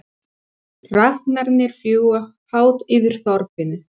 Hrafnarnir fljúga hátt yfir þorpinu.